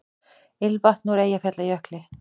Ilmvatn úr Eyjafjallajökli